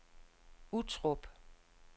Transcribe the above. Uttrup